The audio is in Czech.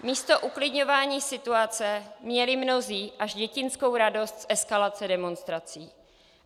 Místo uklidňování situace měli mnozí až dětinskou radost z eskalace demonstrací.